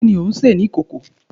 Kini o nse ni ikoko?